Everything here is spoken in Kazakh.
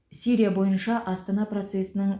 сирия бойынша астана процесінің